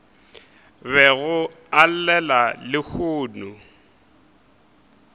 bego a e llela lehono